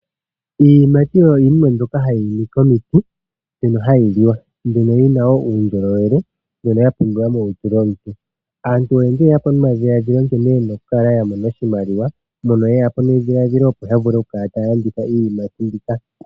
Iiyimati oyo yimwe mbyoka hayi iimi komiti, ano hayi liwa mbyoka yina wo uundjolowele mbyoka ya pumbiwa molutu lyomuntu. Aantu oyendji oyeya po nomadhiladhilo kene yena okukala yamona iimaliwa, mpoka yeya po nedhiladhilo opo yavule okukala taya landitha iiyimati mbika.